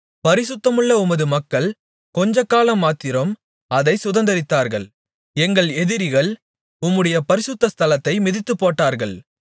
பரிசுத்தமுள்ள உமது மக்கள் கொஞ்சக் காலமாத்திரம் அதைச் சுதந்தரித்தார்கள் எங்கள் எதிரிகள் உம்முடைய பரிசுத்த ஸ்தலத்தை மிதித்துப்போட்டார்கள்